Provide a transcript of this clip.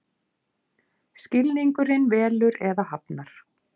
Skilningurinn velur eða hafnar.